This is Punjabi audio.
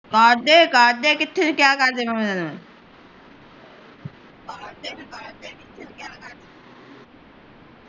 ਕਢਦੇ ਕਢਦੇ ਕਿੱਥੇ ਕਹਿਆ ਕਢਦੇ ਨੂੰ ਊ